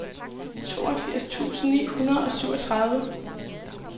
toogfirs tusind ni hundrede og syvogtredive